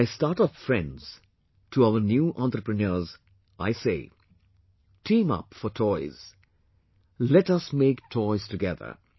To my startup friends, to our new entrepreneurs I say Team up for toys... let us make toys together